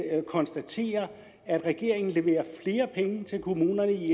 konstatere at regeringen leverer flere penge til kommunerne i